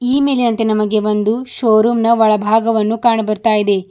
ಈ ಮೇಲಿನಂತೆ ನಮಗೆ ಒಂದು ಶೋ ರೂಮ್ ನ ಒಳಭಾಗವನ್ನು ಕಾಣ ಬರ್ತಾ ಇದೆ.